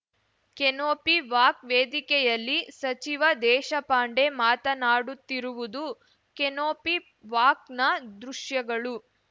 canopy walk ವೇದಿಕೆಯಲ್ಲಿ ಸಚಿವ ದೇಶಪಾಂಡೆ ಮಾತನಾಡುತ್ತಿರುವುದು ಕೆನೋಪಿ ವಾಕ್‌ನ ದೃಶ್ಯಗಳು